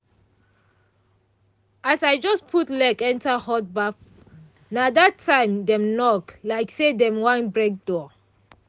as i just put leg enter hot baff na that time dem knock like say dem wan break door.